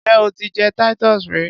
Njẹ o ti jẹ Titus rí?